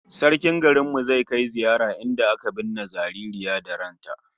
Sarkin garin mu zai kai ziyara inda aka binne jariri da ran sa